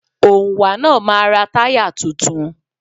Òǹwà náà máa ra táyà tuntun.